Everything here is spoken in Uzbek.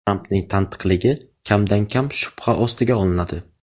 Trampning tantiqligi kamdan-kam shubha ostiga olinadi.